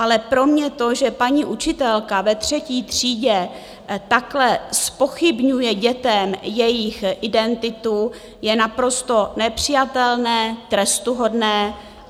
Ale pro mě to, že paní učitelka ve třetí třídě takhle zpochybňuje dětem jejich identitu, je naprosto nepřijatelné, trestuhodné.